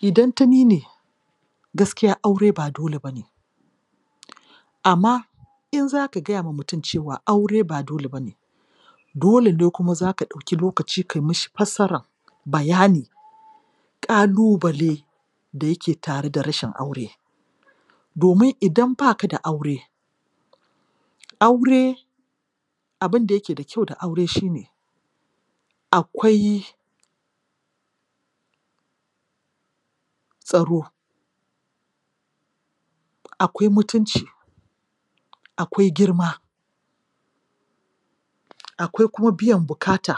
Idan ta ni ne gaskiya aure ba dole ba ne amma in za ka gaya ma mutum cewa aure ba dole ba ne dole ne kuma za ka ɗauki lokaci ka mishi fassra--bayani ƙalubale da yake tare da rashin aure, domin in ba ka da aure aure, abin da yake da kyau da aure shi ne tsaro akwai mutunci akwai girma akwai kuma biyan bukata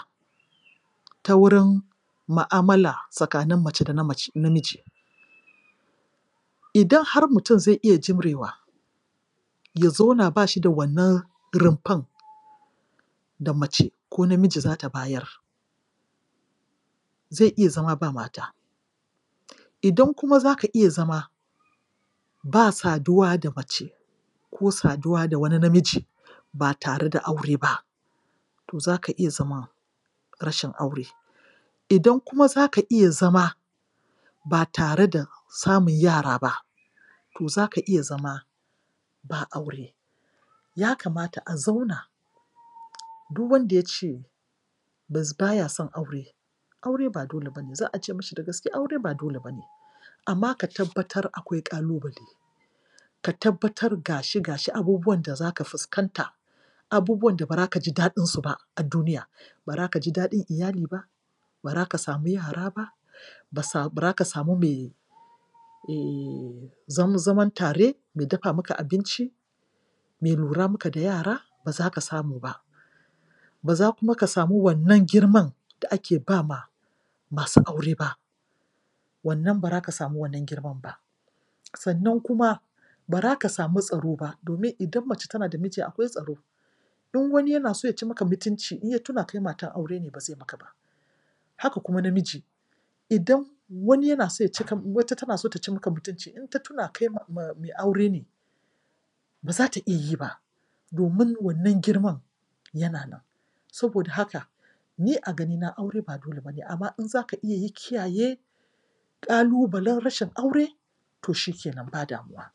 ta wurin mu'amala tsakanin mace da namiji. Idan har mutum zai iya jimrewa ya zauna ba shi da wannan rumfan da mace ko namiji za ta bayar zai iya zama ba mata. Idan kuma za ka iya zama ba saduwa da mace ko saduwa da wani namiji ba tare da aure ba, to za ka iya zama rashin aure. Idan kuma za ka iya zama ba tare da samun yara ba, to za ka iya zama babu aure. Ya kamata a zauna du wanda ya ce ba ya son aure, aure ba dole ba ne. Za a ce mishi da gaske aure ba dole ba ne Amma ka tabbatar akwai ƙalubale ka tabbatar da shi ga shi abubuwan da za ka fuskanta, abubuwan da ba ra ka ji daɗinsu ba a duniya. ba ra ka samu mai um zama zaman tare, mai dafa maka abinci mai lura maka da yara, ba za ka smau ba. Ba za kuma ka samu wannan girman da ake ba ma masu aure ba. wannan ba ra ka samu wannan girman ba. Sannan kuma ba ra ka samu tsaro ba domin idan mace tana da miji akwai tsaro. In wani yana so ya ci maka mutunci, in ya tuna kai matar aure ne ba zai maka ba. Haka kuma namiji idan wani yana so ya ci, wata tana so ta ci maka mutunci in ta tuna kai mai aure ne ba za ta iya yi ba. Domin wannan girman yana nan. Saboda haka, ni a ganina aure ba dole ba ne, amma in za ka iya kiyaye ƙalubalen rashin aure, to shi ke nan ba damuwa.